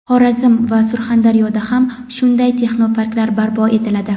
Xorazm va Surxondaryoda ham shunday texnoparklar barpo etiladi.